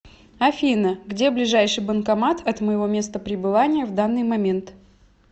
афина где ближайший банкомат от моего места прибывания в данный момент